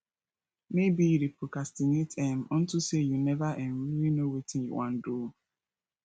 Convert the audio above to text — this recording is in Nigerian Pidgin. maybe you dey procrastinate um unto say you never um really know wetin you wan do